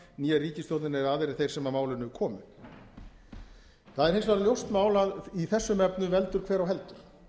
né ríkisstjórnin eða aðrir þeir sem að málinu komu það er hins vegar ljóst mál að í þessum efnum veldur hver á heldur